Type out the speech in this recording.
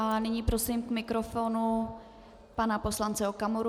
A nyní prosím k mikrofonu pana poslance Okamuru.